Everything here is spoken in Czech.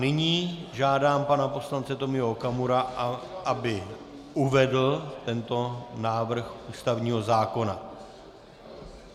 Nyní žádám pana poslance Tomia Okamuru, aby uvedl tento návrh ústavního zákona.